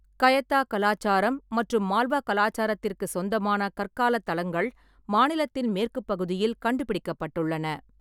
கயத்தா கலாச்சாரம் மற்றும் மால்வா கலாச்சாரத்திற்குச் சொந்தமான கற்கால தளங்கள் மாநிலத்தின் மேற்குப் பகுதியில் கண்டுபிடிக்கப்பட்டுள்ளன.